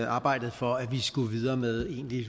arbejdet for at vi skulle videre med egentlig